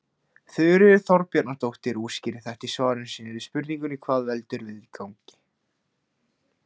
Þuríður Þorbjarnardóttir útskýrir þetta í svari sínu við spurningunni Hvað veldur vindgangi?